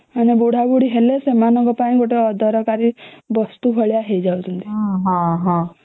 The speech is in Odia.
ମାନେ ବୁଢା ବୁଢ଼ୀ ହେଲେ ସେମାନଙ୍କ ପାଇଁ ଗୋଟେ ଅଦରକାରୀ ବସ୍ତୁ ଭଲିଆ ହେଇ ଯାଉଛଂତି